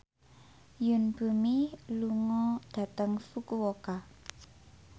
Yoon Bomi lunga dhateng Fukuoka